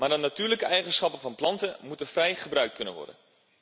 Maar de natuurlijke eigenschappen van planten moeten vrij gebruikt kunnen worden.